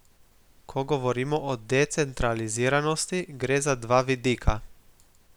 Ko govorimo o decentraliziranosti, gre za dva vidika.